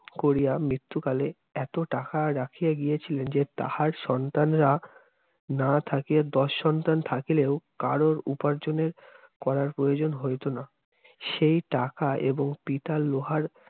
করিয়া মৃত্যকালে এত টাকা রাখিয়া গিয়েছিলেন যে, তাঁহার সন্তানেরা না থাকিয়া দশ সন্তান থাকিলেও কারো উপার্জনের করার প্রয়োজন হইত না। সেই টাকা এবং পিতার লোহার